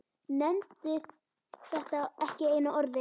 Nefndi þetta ekki einu orði.